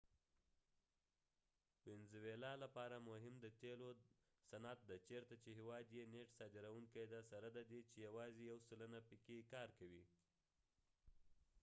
د وينزويلاvenezuela لپاره مهم د تیلو صنعت دي ، چېرته چې هیواد یې نیټ صادرونکې دي سره ددې چې یواځې یو سلنه پکې کار کوي